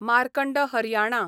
Markand Haryana